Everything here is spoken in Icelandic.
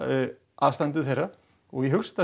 aðstandendur þeirra og ég hugsa